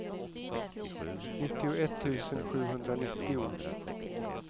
nittioett tusen sjuhundranittio